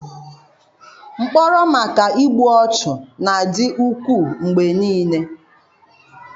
Mkpọrọ maka igbu ọchụ na-adị ukwuu mgbe niile